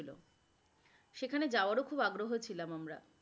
সেখানে যাওয়ার ও খুব আগ্রহ ছিলাম আমরা,